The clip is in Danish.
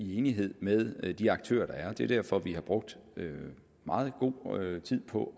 i enighed med de aktører der er det er derfor vi har brugt meget god tid på